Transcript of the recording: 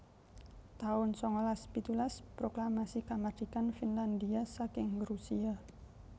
taun sangalas pitulas Proklamasi Kamardikan Finlandhia saking Rusia